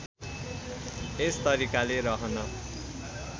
यस तरिकाले रहन